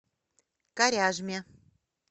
коряжме